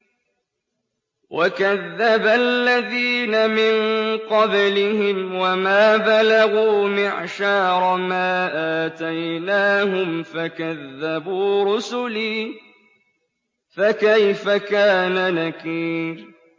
وَكَذَّبَ الَّذِينَ مِن قَبْلِهِمْ وَمَا بَلَغُوا مِعْشَارَ مَا آتَيْنَاهُمْ فَكَذَّبُوا رُسُلِي ۖ فَكَيْفَ كَانَ نَكِيرِ